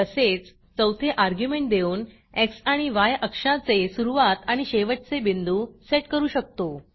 तसेच चौथे अर्ग्युमेंट देऊन एक्स आणि य अक्षाचे सुरूवात आणि शेवटचे बिंदू सेट करू शकतो